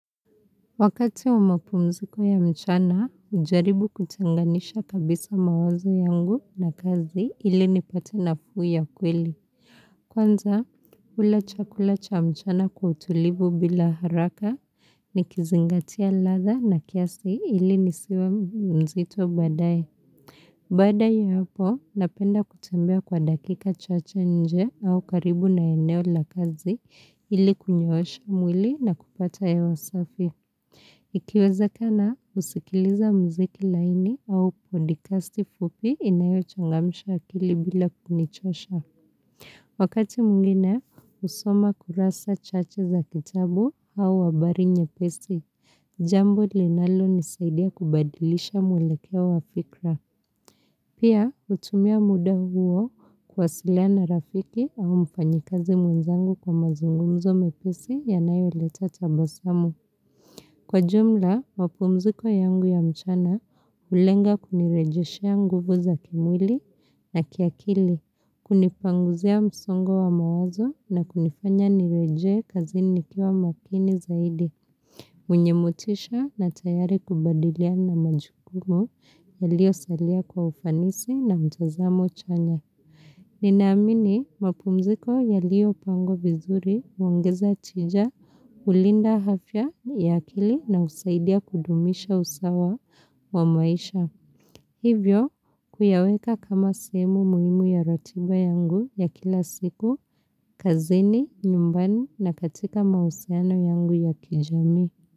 Wakati wa mapumziko ya mchana, hujaribu kutenganisha kabisa mawazo yangu na kazi ili nipate nafuu ya kweli. Kwanza, hula chakula cha mchana kwa utulivu bila haraka, nikizingatia ladha na kiasi ili nisiwe mzito baadaye. Baadaye ya hapo, napenda kutembea kwa dakika chache nje au karibu na eneo la kazi ili kunyoosha mwili na kupata hewa safi. Ikiwezekana, husikiliza muziki laini au podcasti fupi inayochangamsha akili bila kunichosha. Wakati mwingine, husoma kurasa chache za kitabu au habari nyepesi. Jambo linalonisaidia kubadilisha mwelekeo wa fikra. Pia, hutumia muda huo kuwasiliana na rafiki au mfanyikazi mwenzangu kwa mazungumzo mepesi yanayoleta tabasamu. Kwa jumla, mapumziko yangu ya mchana hulenga kunirejeshea nguvu za kimwili na kiakili, kunipanguzia msongo wa mawazo na kunifanya nirejee kazini nikiwa makini zaidi. Mwenye motisha na tayari kubadiliana na majukumu yaliyosalia kwa ufanisi na mtazamo chanya. Ninaamini mapumziko yaliyopangwa vizuri huongezea tija, hulinda afya ya akili na husaidia kudumisha usawa wa maisha. Hivyo, kuyaweka kama sehemu muhimu ya ratiba yangu ya kila siku, kazini, nyumbani na katika mahusiano yangu ya kijamii.